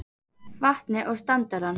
vatnið og standarann.